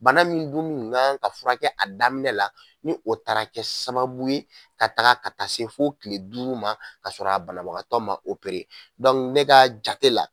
Bana min dun kun kan kan ka furakɛ a daminɛ la ni o taara kɛ sababu ye ka taaga ka taa se fo kile duuru ma ka sɔrɔ a banabagatɔ ma ne ka jate la.